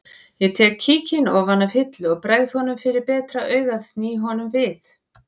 Ég tek kíkinn ofan af hillu og bregð honum fyrir betra augað sný honum við